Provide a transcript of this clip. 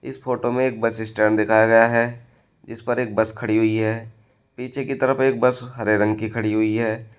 इस फोटो में एक बस स्टैंड दिखाया गया है जिसपर एक बस खड़ी हुई है पीछे की तरफ एक बस हरे रंग की खड़ी हुई है।